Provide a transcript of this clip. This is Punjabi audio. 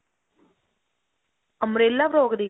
umbrella frock the